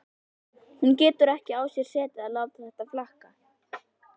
Hún getur ekki á sér setið að láta þetta flakka.